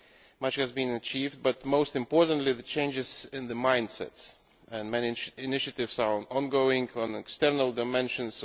Much has been achieved, the most important being the changes in mindsets, and managed initiatives are ongoing on external dimensions.